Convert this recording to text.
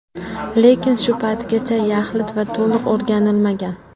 Lekin shu paytgacha yaxlit va to‘liq o‘rganilmagan.